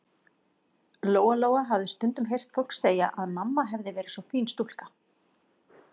Lóa-Lóa hafði stundum heyrt fólk segja að mamma hefði verið svo fín stúlka.